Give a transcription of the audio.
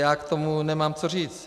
Já k tomu nemám co říct.